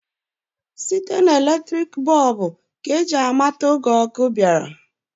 Site na eletriki bọb ka ji amata oge ọkụ bịara.